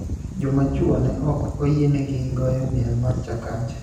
Joma chwo (ne ok oyienegi) goyo miel mar Chakacha